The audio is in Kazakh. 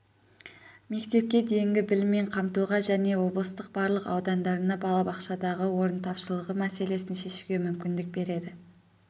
мектепке дейінгі біліммен қамтуға және облыстың барлық аудандарында балабақшадағы орын тапшылығы мәселесін шешуге мүмкіндік береді